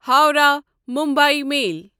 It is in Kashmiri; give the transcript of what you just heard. ہووراہ مُمبے میل